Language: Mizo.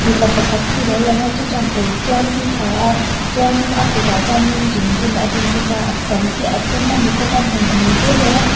mipa pakhat hi a lo lang a chu chuan kawr tial hi a ha a chuanin a kutah hianin zungbun a bun bawk a a sam hi a dum a ni bawk a hmuihmul te nei a.